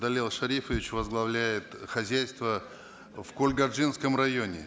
далел шарипович возглавляет хозяйство в кургальджинском районе